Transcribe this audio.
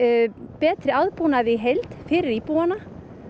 betri aðbúnaði í heild fyrir íbúana